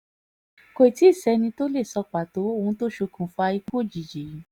kò tì í sẹ́ni tó lè sọ pàtó ohun tó ṣokùnfà ikú òjijì yìí